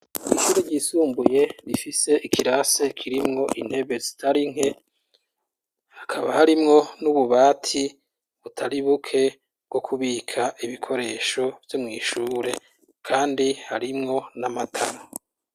Ishuri ryisumbuye rifise ikirase kirimwo intebe zitari nke, hakaba harimwo n'ububati butari buke bwo kubika ibikoresho vyo mwishure kandi harimwo n'amatara.